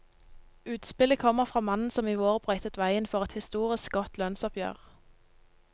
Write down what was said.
Utspillet kommer fra mannen som i vår brøytet veien for et historisk godt lønnsoppgjør.